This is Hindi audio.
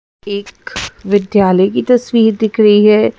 एक विद्यालय की तस्वीर दिख रही है।